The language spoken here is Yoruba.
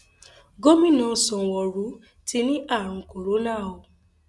gomina sanwóoru ti ní àrùn corona o